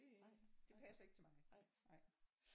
Det det passer ikke til mig